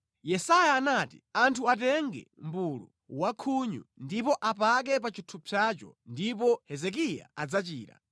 Yesaya anati, “Anthu atenge mʼbulu wankhunyu ndipo apake pa chithupsacho ndipo Hezekiya adzachira.”